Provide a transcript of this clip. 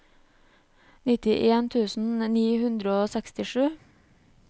nittien tusen ni hundre og sekstisju